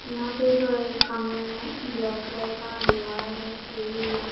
यहां पे एक कमरा है ब्लैक कलर का दीवार है टी_वी है।